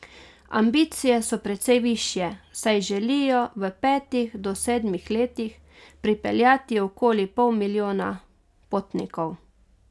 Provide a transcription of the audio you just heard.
Ambicije so precej višje, saj želijo v petih do sedmih letih prepeljati okoli pol milijona potnikov.